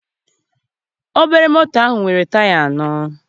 Obere moto nwere taya anọ.